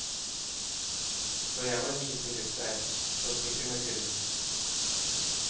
Så jeg var visergutt der, på sykkel med kurv.